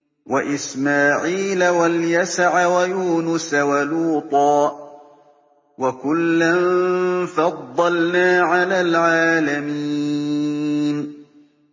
وَإِسْمَاعِيلَ وَالْيَسَعَ وَيُونُسَ وَلُوطًا ۚ وَكُلًّا فَضَّلْنَا عَلَى الْعَالَمِينَ